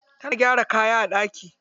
Tana gyara kaya a ɗaki.